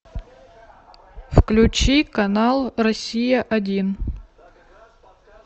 включи канал россия один